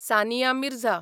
Sania Mirza